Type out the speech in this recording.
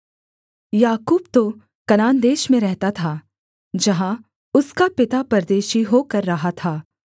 याकूब तो कनान देश में रहता था जहाँ उसका पिता परदेशी होकर रहा था